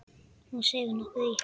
Hún seig nokkuð í.